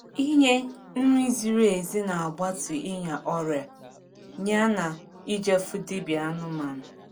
ỉnye nri ziri ezi n’agbatu ịnya ọria ya na ịje fụ dibia anụmanụ